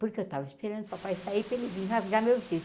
Porque eu tava esperando papai sair para ele vir rasgar meu vestido.